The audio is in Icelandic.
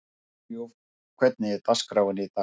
Hugljúf, hvernig er dagskráin í dag?